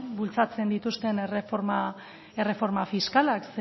bultzatzen dituzten erreforma fiskalak